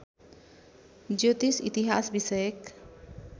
ज्योतिष इतिहास विषयक